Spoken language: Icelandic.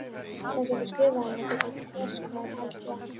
Þeir gætu skrifað henni og getið þess hvað helst vantaði.